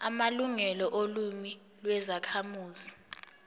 amalungelo olimi lwezakhamuzi